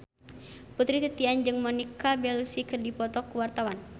Putri Titian jeung Monica Belluci keur dipoto ku wartawan